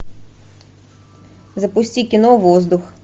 запусти кино воздух